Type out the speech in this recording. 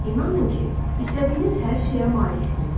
İnanın ki, istədiyiniz hər şeyə maliksiniz.